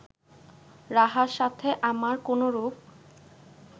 রাহার সাথে আমার কোনরূপ